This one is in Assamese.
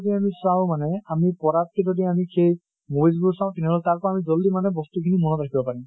যদি আমি চাওঁ মানে আমি পঢ়াতকে যদি সেই movies বোৰ চাওঁ, তেনেহলে তাৰ পৰা আমি জল্দি মানে বস্তু খিনি মনত ৰাখিব পাৰিম।